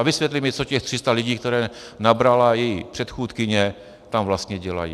A vysvětlí mi, co těch 300 lidí, které nabrala její předchůdkyně, tam vlastně dělá.